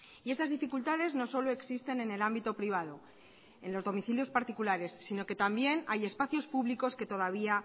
y estas dificultades no solo existen en el ámbito privado en los domicilios particulares sino que también hay espacios públicos que todavía